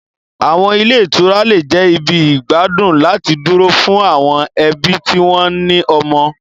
Àwọn ilé ìtura lè jẹ́ ibi ìgbádùn láti dúró fún àwọn ẹbí tí wọ́n ní ọmọ.